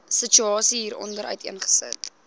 situasie hieronder uiteengesit